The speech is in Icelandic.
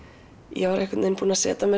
ég var búin að setja mér